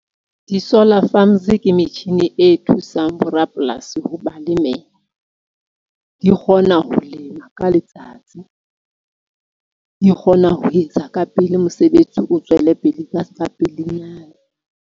Di-solar farms ke metjhini e thusang borapolasi ho ba lemela, di kgona ho lema ka letsatsi, di kgona ho etsa ka pele mosebetsi o tswele pele ka ske ka pelenyana.